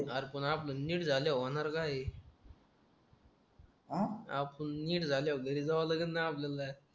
अरे पण आपण नीट झाल्यावर होणार काय आहे आपण नीट झाल्यावर घरी जावं लागेल ना आपल्याला